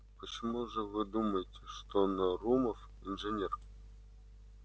почему же вы думаете что нарумов инженер